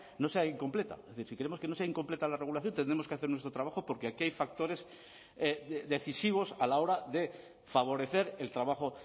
no sea incompleta es decir si queremos que no sea incompleta la regulación tendremos que hacer nuestro trabajo porque aquí hay factores decisivos a la hora de favorecer el trabajo